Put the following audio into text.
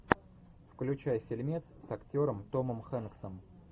включай фильмец с актером томом хэнксом